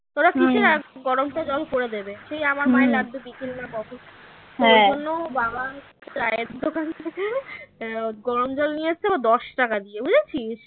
ওরা গরমটা জল করে দেবে সেই আমার মায়ের লাগবে ওর জন্য বাবা চায়ের দোকান থেকে এর গরম জল নিয়েছে েএবার দশ টাকা দিয়ে বুঝেছিস?